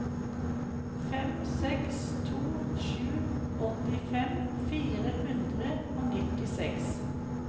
fem seks to sju åttifem fire hundre og nittiseks